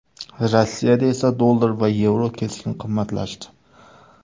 Rossiyada esa dollar va yevro keskin qimmatlashdi .